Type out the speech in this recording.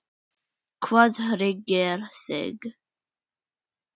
Hvað hryggir þig?